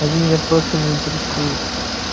они меня просто не интересуют